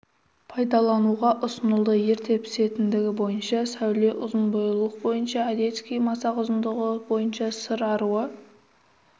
пайдаланылуға ұсынылды ерте пісетіндігі бойынша сәуле ұзын бойлылық бойынша одесский масақ ұзындығы бойынша сыр аруы